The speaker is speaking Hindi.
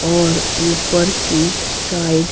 और ऊपर की साइड --